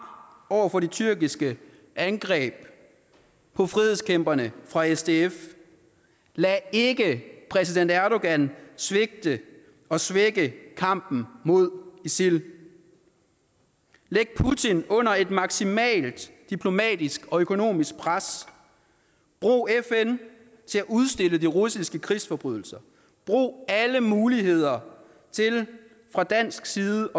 over for de tyrkiske angreb på frihedskæmperne fra sdf lad ikke præsident erdogan svigte og svække kampen mod isil sæt putin under et maksimalt diplomatisk og økonomisk pres brug fn til at udstille de russiske krigsforbrydelser brug alle muligheder til fra dansk side